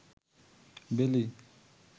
বেলি